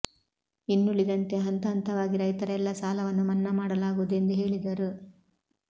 ಇನ್ನುಳಿದಂತೆ ಹಂತ ಹಂತವಾಗಿ ರೈತರ ಎಲ್ಲ ಸಾಲವನ್ನು ಮನ್ನಾ ಮಾಡಲಾಗುವುದು ಎಂದು ಹೇಳಿದರು